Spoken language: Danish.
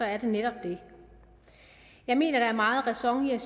er det netop det jeg mener der er meget ræson i